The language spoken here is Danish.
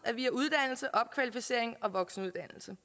er via uddannelse opkvalificering og voksenuddannelse